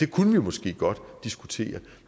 kunne jo måske godt diskutere